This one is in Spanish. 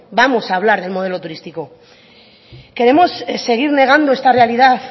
vamos a hablar de modelo turístico queremos seguir negando esta realidad